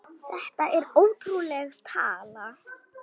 Þetta er ótrúleg tala.